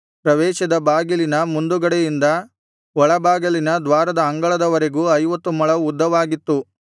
ಪ್ರವೇಶದ ಬಾಗಿಲಿನ ಮುಂದುಗಡೆಯಿಂದ ಒಳ ಬಾಗಿಲಿನ ದ್ವಾರದ ಅಂಗಳದವರೆಗೂ ಐವತ್ತು ಮೊಳ ಉದ್ದವಾಗಿತ್ತು